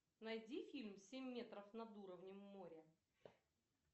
найди фильм семь метров над уровнем моря